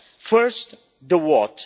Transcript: First, the what.